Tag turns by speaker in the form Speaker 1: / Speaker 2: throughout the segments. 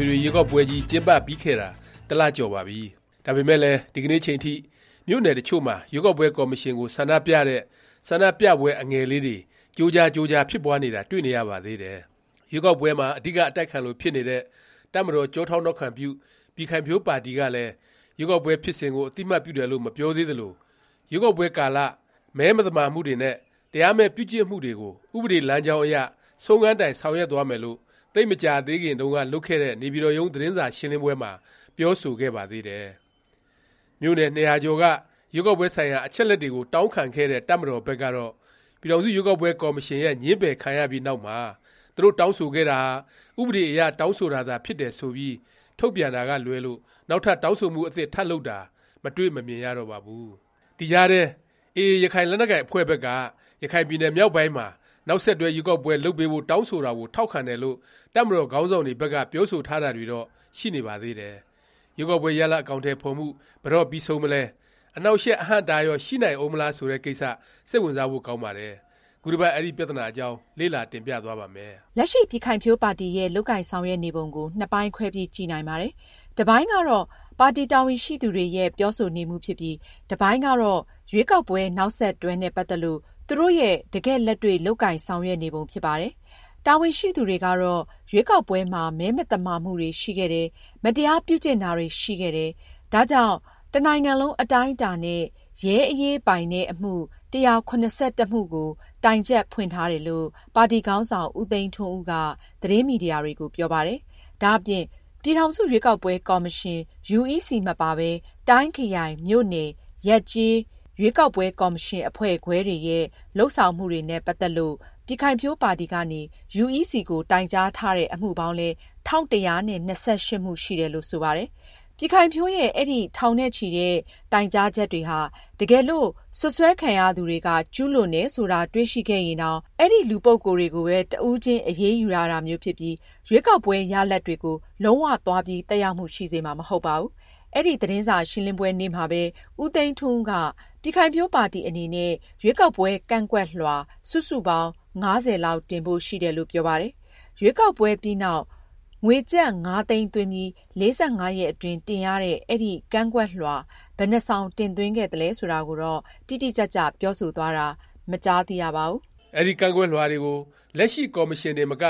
Speaker 1: ွေထွေ ရွေးကောက်ပွဲကြီး ကျင်းပပြီးခဲ့တာ တစ်လ ကျော်ပါပြီ။ ဒါပေမယ့်လည်း ဒီကနေ့အချိန်ထိ မြို့နယ် တစ်ချို့မှာ ရွေးကောက်ပွဲ ကော်မရှင်ကို ဆန္ဒပြတဲ့ ဆန္ဒပြပွဲ အငယ်လေးတွေ ကြိုးကြားကြိုးကြား ဖြစ်ပွားနေတာ တွေ့နေရပါသေးတယ်။ ရွေးကောက်ပွဲမှာ အဓိက အတိုက်ခံလို ဖြစ်နေတဲ့ တပ်မတော်ကျောထောက်နောက်ခံပြု ပြည်ခိုင်ဖြိုးပါတီကလည်း ရွေးကောက်ပွဲဖြစ်စဉ်ကို အသိအမှတ်ပြုတယ်လို့ မပြောသေးသလို၊ ရွေးကောက်ပွဲကာလ မဲမသမာမှုတွေနဲ့ တရားမဲ့ ပြုကျင့်မှုတွေကို ဥပဒေလမ်းကြောင်းအရ ဆုံးခန်းတိုင် ဆောင်ရွက်သွားမယ်လို့ သိပ်ကြာသေးခင်တုန်းက လုပ်ခဲ့တဲ့ နေပြည်တော်ရုံး သတင်းစာရှင်းလင်းပွဲမှာ ပြောဆိုခဲ့ပါသေးတယ်။ မြို့နယ် ၂၀၀ ကျော်က ရွေးကောက်ပွဲ ဆိုင်ရာ အချက်အလက်တွေကို တောင်းခံခဲ့တဲ့ တပ်မတော်ဘက်ကတော့ ပြည်ထောင်စု ရွေးကောက်ပွဲ ကော်မရှင်ရဲ့ ငြင်းပယ် ခံရပြီးနောက်မှာ သူတို့ တောင်းဆိုခဲ့တာဟာ ဥပဒေအရ တောင်းဆိုတာသာ ဖြစ်တယ် ဆိုပြီး ထုတ်ပြန်တာကလွဲလို့ နောက်ထပ် တောင်းဆိုမှု အသစ် ထပ်လုပ်တာကို မတွေ့မမြင်ရတော့ပါဘူး။ ဒီကြားထဲ AA ရခိုင်လက်နက်ကိုင် အဖွဲ့ဘက်က ရခိုင်ပြည်နယ် မြောက်ပိုင်းမှာ နောက်ဆက်တွဲ ရွေးကောက်ပွဲ လုပ်ပေးဖို့ တောင်းဆိုတာကို ထောက်ခံတယ်လို့ တပ်မတော်ခေါင်းဆောင်တွေဘက်က ပြောဆိုထားတာတွေတော့ ရှိနေပါသေးတယ်။ ရွေးကောက်ပွဲ ရလာဒ် အကောင်အထည် ဖော်မှု ဘယ်တော့ ပြီးဆုံးမလဲ၊ အနှောင့်အယှက် အဟန့်အတားရော ရှိနိုင်ဦးမလား ဆိုတဲ့ကိစ္စ စိတ်ဝင်စားဖို့ ကောင်းပါတယ်။ ခုတစ်ပတ် အဲဒီ ပြသနာ အကြောင်း လေ့လာ တင်ပြသွားပါ့မယ်
Speaker 2: ။ လက်ရှိ ပြည်ခိုင်ဖြိုးပါတီရဲ့ လုပ်ကိုင်ဆောင်ရွက်နေပုံကို နှစ်ပိုင်းခွဲပြီး ကြည့်နိုင်ပါတယ်။ တစ်ပိုင်းကတော့ ပါတီ တာဝန်ရှိသူတွေရဲ့ ပြောဆိုနေမှုဖြစ်ပြီး၊ တစ်ပိုင်းကတော့ ရွေးကောက်ပွဲ နောက်ဆက်တွဲနဲ့ ပတ်သက်လို့ သူတို့ရဲ့တကယ့်လက်တွေ့ လုပ်ကိုင်ဆောင်ရွက်နေပုံ ဖြစ်ပါတယ်။ တာဝန်ရှိသူတွေကတော့ ရွေးကောက်ပွဲမှာ မဲမသမာမှုတွေ ရှိခဲ့တယ်၊ မတရားပြုကျင့်တာတွေ ရှိခဲ့တယ်၊ ဒါကြောင့် တစ်နိုင်ငံလုံး အတိုင်းအတာနဲ့ ရဲအရေးပိုင်တဲ့ အမှု ၁၇၁ မှုကို တိုင်ချက်ဖွင့်ထားတယ်လို့ ပါတီခေါင်းဆောင် ဦးသိန်းထွန်းဦးက သတင်းမီဒီယာတွေကို ပြောပါတယ်။ ဒါ့အပြင် ပြည်ထောင်စု ရွေးကောက်ပွဲ ကော်မရှင် UEC မပါပဲ ၊ တိုင်း၊ ခရိုင်၊ မြို့နယ်၊ ရပ်ကျေး ရွေးကောက်ပွဲ ကော်မရှင် အဖွဲ့ခွဲတွေရဲ့ လုပ်ဆောင်မှုတွေနဲ့ ပတ်သက်ပြီး ပြည်ခိုင်ဖြိုးပါတီကနေ UEC ကို တိုင်ကြားထားတဲ့ အမှုပေါင်းလည်း ၁၁၂၈ မှုရှိတယ်လို့ ဆိုပါတယ်။ ပြည်ခိုင်ဖြိုးရဲ့ အဲဒီ ထောင်နဲ့ချီတဲ့ တိုင်ကြားချက်တွေဟာ တကယ်လို့ စွပ်စွဲခံရသူတွေက ကျူးလွန်တယ် ဆိုတာ တွေ့ရှိခဲ့ရင်တောင် အဲဒီ လူပုဂ္ဂိုလ်တွေကိုပဲ တစ်ဦးချင်း အရေးယူရတာမျိုး ဖြစ်ပြီး ရွေးကောက်ပွဲ ရလာဒ်တွေကို လုံး၀ သွားပြီး သက်ရောက်မှု ရှိစေမှာ မဟုတ်ပါဘူး။ အဲဒီ သတင်းစာရှင်းလင်းပွဲ နေ့မှာပဲ ဦးသိန်းထွန်းဦးက ပြည်ခိုင်ဖြိုးပါတီ အနေနဲ့ ရွေးကောက်ပွဲ ကန့်ကွက်လွှာ စုစုပေါင်း (၅၀) လောက် တင်ဖို့ ရှိတယ်လို့ ပြောပါတယ်။ ရွေးကောက်ပွဲ ပြီးနောက် ငွေကျပ် ၅ သိန်းသွင်းပြီး၊ ၄၅ ရက်အတွင်း တင်ရတဲ့ အဲဒီ ကန့်ကွက်လွှာ ဘယ်နှစ်စောင် တင်သွင်းခဲ့သလဲ ဆိုတာကိုတော့ တိတိကျကျ ပြောဆိုသွားတာ မကြားသိရပါဘူး
Speaker 1: ။ အဲဒီ ကန့်ကွက်လွှာတွေကို လက်ရှိ ကော်မရှင်တင်မက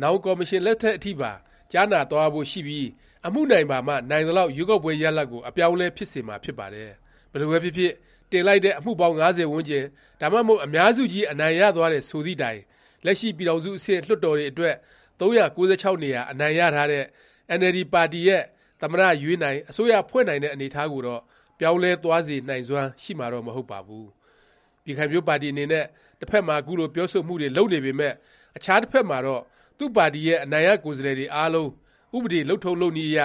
Speaker 1: နောင် ကော်မရှင် လက်ထက် အထိပါ ကြားနာသွားရဖို့ ရှိပြီး အမှုနိုင်ပါမှ နိုင်သလောက် ရွေးကောက်ပွဲ ရလာဒ်ကို အပြောင်းအလဲ ဖြစ်စေမှာ ဖြစ်ပါတယ်။ ဘယ်လိုပဲဖြစ်ဖြစ် တင်လိုက်တဲ့ အမှုပေါင်း ၅၀ ဝန်းကျင်၊ ဒါမှမဟုတ် အများစုကြီး အနိုင်ရသွားတယ် ဆိုသည့်တိုင် လက်ရှိ ပြည်ထောင်စု အဆင့် လွှတ်တော်တွေအတွက် ၃၉၆ နေရာ အနိုင်ရထားတဲ့ အင်န်အယ်လ်ဒီ ပါတီရဲ့ သမ္မတ ရွေးနိုင်၊ အစိုးရဖွဲ့နိုင်တဲ့ အနေအထားကိုတော့ ပြောင်းလဲသွားစေနိုင်စွမ်း ရှိမှာတော့ မဟုတ်ပါဘူး။ ပြည်ခိုင်ဖြိုးပါတီ အနေနဲ့ တစ်ဖက်မှာ ခုလို ပြောဆိုမှုတွေ လုပ်နေပေမယ့် အခြားတစ်ဖက်မှာတော့ သူ့ပါတီရဲ့ အနိုင်ရ ကိုယ်စားလှယ်တွေ အားလုံး ဥပဒေ လုပ်ထုံးလုပ်နည်းအရ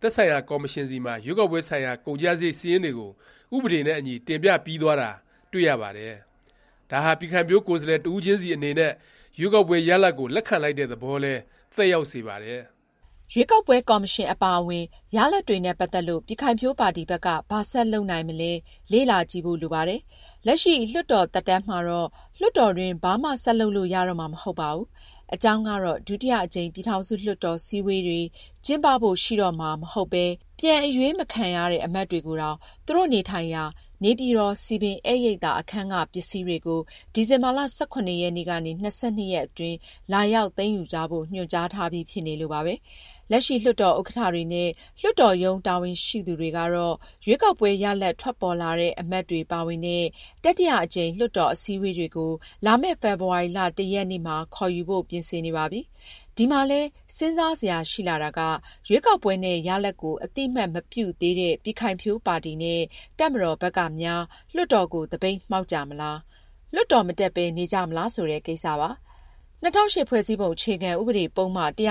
Speaker 1: သက်ဆိုင်ရာ ကော်မရှင်ဆီမှာ ရွေးကောက်ပွဲဆိုင်ရာ ကုန်ကျစားရိတ် စာရင်းတွေကို ဥပဒေနဲ့ အညီ တင်ပြပြီးသွားတာ တွေ့ရပါတယ်။ ဒါဟာ ပြည်ခိုင်ဖြိုး ကိုယ်စားလှယ် တစ်ဦးချင်းစီ အနေနဲ့ ရွေးကောက်ပွဲ ရလာဒ်ကို လက်ခံလိုက်တဲ့ သဘောလည်း သက်ရောက်စေပါတယ်
Speaker 2: ။ ရွေးကောက်ပွဲ၊ ကော်မရှင် အပါအဝင် ရလာဒ်တွေနဲ့ ပတ်သက်ပြီး ပြည်ခိုင်ဖြိုးပါတီဘက်က ဘာဆက်လုပ်နိုင်မလဲ လေ့လာကြည့်ဖို့ လိုပါတယ်။ လက်ရှိ လွှတ်တော် သက်တမ်းမှာတော့ လွှတ်တော်တွင်း ဘာမှ ဆက်လုပ်လို့ရတော့မှာ မဟုတ်ပါဘူး။ အကြောင်းကတော့ ဒုတိယ အကြိမ် ပြည်ထောင်စု လွှတ်တော် စည်းဝေးတွေ ကျင်းပဖို့ ရှိတော့မှာ မဟုတ်ပဲ ပြန်အရွေးမခံရတဲ့ အမတ်တွေကိုတောင် သူတို့ နေထိုင်ရာ နေပြည်တော် စည်ပင် ဧည့်ရိပ်သာ အခန်းက ပစ္စည်းတွေကို ဒီဇင်ဘာ ၁၇ ရက်နေ့ကနေ ၂၂ ရက်အတွင်း လာရောက် သိမ်းယူကြဖို့ ညွှန်ကြားထားပြီး ဖြစ်နေလို့ပါပဲ။ လက်ရှိ လွှတ်တော် ဥက္ကဌ တွေနဲ့ လွှတ်တော်ရုံး တာဝန်ရှိသူတွေကတော့ ရွေးကောက်ပွဲ ရလာဒ်က ထွက်ပေါ်လာတဲ့ အမတ်တွေ ပါဝင်တဲ့ တတိယ အကြိမ် လွှတ်တော် အစည်းအဝေးတွေကို လာမယ့် ဖေဖေါ်ဝါရီ (၁) ရက်နေ့မှာ ခေါ်ယူဖို့ ပြင်ဆင်နေပါပြီ။ ဒီမှာလည်း စဉ်းစားစရာ ရှိလာတာက ရွေးကောက်ပွဲ နဲ့ ရလာဒ်ကို အသိအမှတ်မပြုသေးတဲ့ ပြည်ခိုင်ဖြိုးပါတီ နဲ့ တပ်မတော်ဘက်ကများ လွှတ်တော်ကို သပိတ်မှောက်ကြမလား၊ လွှတ်တော် မတက်ပဲ နေကြမလား ဆိုတဲ့ ကိစ္စပါ။ ၂၀၀၈ ဖွဲ့စည်းပုံ အခြေခံ ဥပဒေ ပုဒ်မ ၁၂၈(က)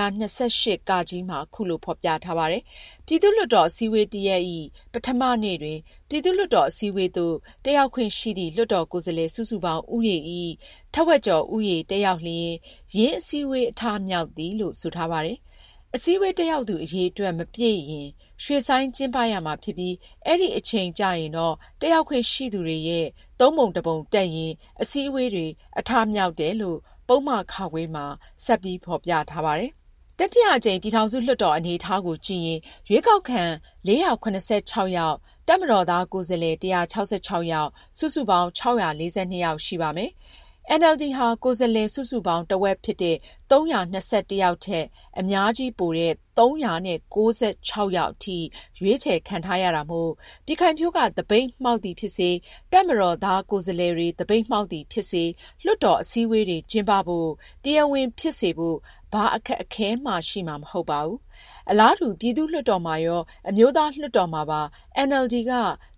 Speaker 2: မှာ ခုလို ဖော်ပြထားပါတယ်။ “ ပြည်သူ့လွှတ်တော် အစည်းဝေး တစ်ရပ်ဇ။် ပထမ နေ့တွင် ပြည်သူ့လွှတ်တော် အစည်းအဝေးသို့ တက်ရောက်ခွင့်ရှိသည့် လွှတ်တော်ကိုယ်စားလှယ် စုစုပေါင်း ဦးရေဇ။် ထက်ဝက်ကျော်ဦးရေ တက်ရောက်လျင် ယင်း အစည်းအဝေး အထမြောက်သည်။ ” လို့ ဆိုထားပါတယ်။ အစည်းအဝေး တက်ရောက်သူ အရေအတွက် မပြည့်ရင် ရွှေ့ဆိုင်း ကျင်းပရမှာဖြစ်ပြီး အဲဒီအချိန်ကျရင်တော့ တက်ရောက်ခွင့်ရှိသူတွေရဲ့ သုံးပုံတစ်ပုံ တက်ရင် အစည်းအဝေးတွေ အထမြောက်တယ်လို့ ပုဒ်မ (ခ) မှာ ဆက်ပြီး ဖော်ပြထားပါတယ်။ တတိယအကြိမ် ပြည်ထောင်စု လွှတ်တော် အနေအထားကိုကြည့်ရင် ရွေးကောက်ခံ ၄၇၆ ယောက်၊ တပ်မတော်သားကိုယ်စားလှယ် ၁၆၆ ယောက်၊ စုစုပေါင်း ၆၄၂ ယောက် ရှိပါမယ်။ အင်န်အယ်လ်ဒီဟာ ကိုယ်စားလှယ်စုစုပေါင်း တစ်ဝက်ဖြစ်တဲ့ ၃၂၁ ယောက်ထက် အများကြီးပိုတဲ့ ၃၉၆ ယောက်အထိ ရွေးချယ်ခံထားရတာမို့ ပြည်ခိုင်ဖြိုးက သပိတ်မှောက်သည် ဖြစ်စေ၊ တပ်မတော်သား ကိုယ်စားလှယ်တွေ သပိတ်မှောက်သည် ဖြစ်စေ၊ လွှတ်တော် အစည်းအဝေးတွေ ကျင်းပဖို့၊ တရားဝင် ဖြစ်စေဖို့ ဘာအခက်အခဲမှ ရှိမှာ မဟုတ်ပါဘူး။ အလားတူ ပြည်သူ့လွှတ်တော်မှာရော၊ အမျိုးသားလွှတ်တော်မှာပါ အင်န်အယ်လ်ဒီ က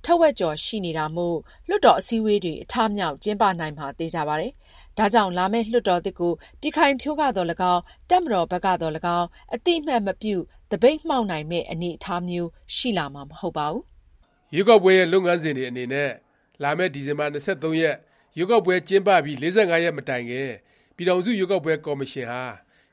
Speaker 2: ထက်ဝက်ကျော် ရှိနေတာမို့ လွှတ်တော် အစည်းအဝေးတွေ အထမြောက်၊ ကျင်းပနိုင်မှာ ဒါကြောင့် လာမယ့် လွှတ်တော်သစ်ကို ပြည်ခိုင်ဖြိုးကသော်၎င်း၊ တပ်မတော်ဘက်က သော်၎င်း အသိအမှတ်မပြု သပိတ်မှောက်နိုင်မယ့် အနေအထားမျိုး ရှိလာမှာ မဟုတ်ပါဘူး
Speaker 1: ။ ရွေးကောက်ပွဲရဲ့ လုပ်ငန်းစဉ်တွေ အနေနဲ့ လာမယ့် ဒီဇင်ဘာ ၂၃ ရက်၊ ရွေးကောက်ပွဲ ကျင်းပပြီး ၄၅ ရက်မတိုင်ခင် ပြည်ထောင်စု ရွေးကောက်ပွဲ ကော်မရှင်ဟာ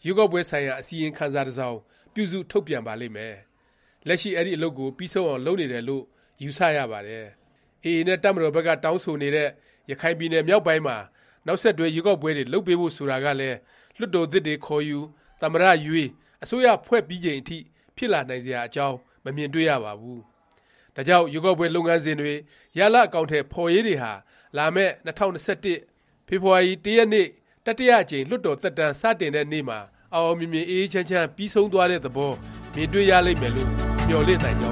Speaker 1: ရွေးကောက်ပွဲဆိုင်ရာ အစီရင်ခံစာ တစ်စောင် ပြုစု ထုတ်ပြန်ပါလိမ့်မယ်။ လက်ရှိ အဲဒီ အလုပ်ကို ပြီးဆုံးအောင် လုပ်နေတယ်လို့ ယူဆ ရပါတယ်။ AA နဲ့ တပ်မတော်ဘက်က တောင်းဆိုနေတဲ့ ရခိုင်ပြည်နယ် မြောက်ပိုင်းမှာ နောက်ဆက်တွဲ ရွေးကောက်ပွဲတွေ လုပ်ပေးဖို့ ဆိုတာကလည်း လွှတ်တော်သစ်တွေ ခေါ်ယူ၊ သမ္မတ ရွေး၊ အစိုးရဖွဲ့ပြီးချိန်ထိ ဖြစ်လာနိုင်စရာ အကြောင်း မမြင်တွေ့ရပါဘူး။ ဒါကြောင့် ရွေးကောက်ပွဲ လုပ်ငန်းစဉ်တွေ၊ ရလာဒ် အကောင်အထည် ဖော်ရေးတွေဟာ လာမယ့် ၂၀၂၁ ဖေဖေါ်ဝါရီ ၁ ရက်နေ့ တတိယအကြိမ် လွှတ်တော် သက်တမ်း စတင်တဲ့နေ့မှာ အောင်အောင်မြင်မြင် အေးအေးချမ်းချမ်း ပြီးဆုံးသွားတဲ့သဘော မြင်တွေ့ရလိမ့်မယ်လို့ မျှော်လင့်နိုင်ကြ